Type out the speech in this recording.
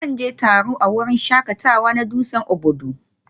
Zan je taro a wurin shakatawa na dutsen Obudu